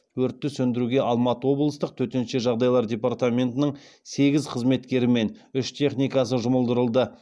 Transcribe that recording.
өртті сөндіруге алматы облыстық төтенше жағдайлар департаментінің сегіз қызметкері мен үш техникасы жұмылдырылды